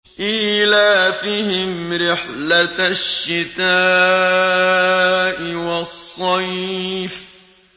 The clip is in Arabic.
إِيلَافِهِمْ رِحْلَةَ الشِّتَاءِ وَالصَّيْفِ